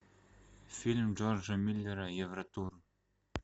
фильм джорджа миллера евротур